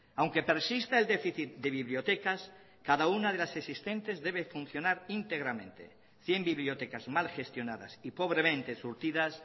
aunque persista el déficit de bibliotecas cada una de las existentes debe funcionar íntegramente cien bibliotecas mal gestionadas y pobremente surtidas